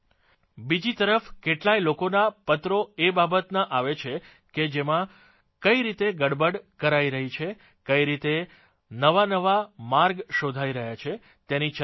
બીજી તરફ કેટલાય લોકોના પત્રો એ બાબતના આવે છે કે જેમાં કઇ રીતે ગડબડ કરાઇ રહી છે કઇ રીતે નવાનવા માર્ગ શોધાઇ રહ્યા છે તેની ચર્ચા છે